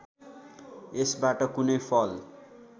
यसबाट कुनै फल